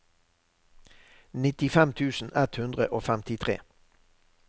nittifem tusen ett hundre og femtitre